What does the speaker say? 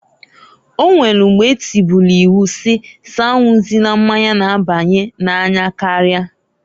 O nwelu mgba etubulu iwu si s'anwụzina mmanya n'abanye n'anya karia.